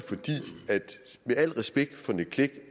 med al respekt for nick clegg